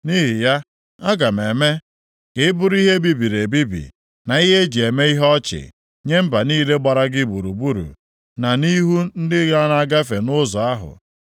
“Nʼihi ya, aga m eme ka ị bụrụ ihe e bibiri ebibi, na ihe e ji eme ihe ọchị nye mba niile gbara gị gburugburu, na nʼihu ndị na-agafe nʼụzọ ahụ.